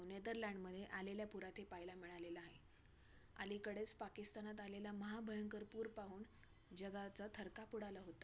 तर अ तोपर्यंत आम्ही गावाची सरपंच आलेले गावाचे सरपंच हे नदीच्या इथेच राहत होते.